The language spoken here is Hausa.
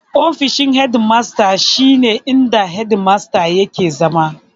Ofishin hedi masta shi ne inda hedi masta yake zama.